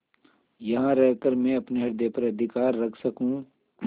यहाँ रहकर मैं अपने हृदय पर अधिकार रख सकँू